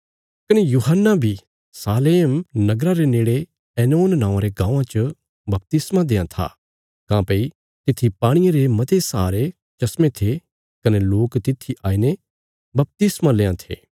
कने यूहन्ना बी एनोन नौआं रे गाँवां च सै जे सामरिया इलाके च सालोम नगरा ले था बपतिस्मा देआं था काँह्भई तित्थी बौहत सारा पाणी था कने लोक तित्थी आईने बपतिस्मा लेआं थे